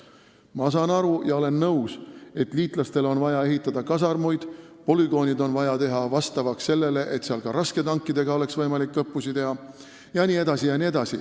Ma saan aru ja olen nõus, et liitlastele on vaja ehitada kasarmuid, polügoonid on vaja teha vastavaks sellele, et seal oleks võimalik ka rasketankidega õppusi teha jne-jne.